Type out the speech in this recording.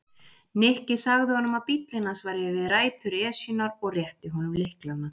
Nikki sagði honum að bíllinn hans væri við rætur Esjunnar og rétti honum lyklana.